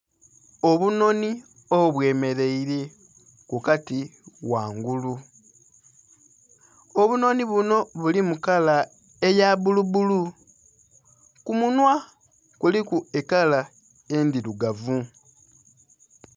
Obunhonhi obwe mereire ku kati ghangulu, obunhonhi bunho bulimu kala eya bulu bulu ku munhwa kuliku kala endhirugavu.